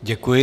Děkuji.